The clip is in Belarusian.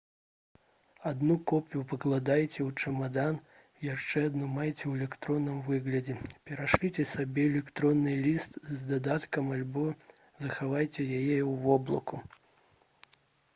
адну копію пакладзіце ў чамадан яшчэ адну майце ў электронным выглядзе перашліце сабе электронны ліст з дадаткам альбо захавайце яе ў «воблаку»